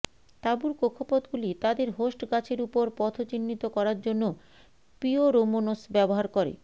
তাঁবুর কক্ষপথগুলি তাদের হোস্ট গাছের উপর পথ চিহ্নিত করার জন্য পিওরোমোনস ব্যবহার করে